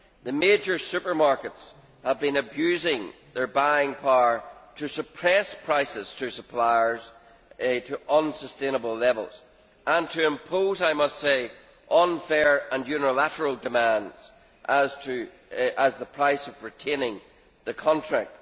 The major supermarkets have been abusing their buying power to suppress prices to suppliers to unsustainable levels and to impose, I must say, unfair and unilateral demands as the price of retaining the contract.